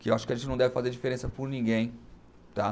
Que eu acho que a gente não deve fazer diferença por ninguém, tá?